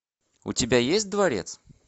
у тебя есть дворец